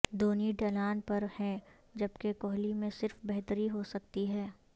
دھونی ڈھلان پر ہیں جبکہ کوہلی میں صرف بہتری ہو سکتی ہے